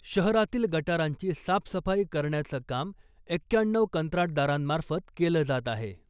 शहारातील गटारांची साफसफाई करण्याचं काम एक्क्याण्णऊ कंत्राटदारांमार्फत केलं जात आहे .